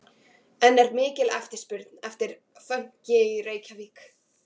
En er mikil eftirspurn eftir fönki í Reykjavík?